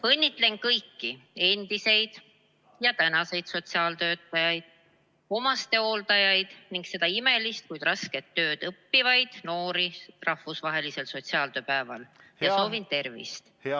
Õnnitlen kõiki endiseid ja tänaseid sotsiaaltöötajaid, omastehooldajaid ning seda imelist, kuid rasket ametit õppivaid noori rahvusvahelisel sotsiaaltööpäeval ja soovin tervist!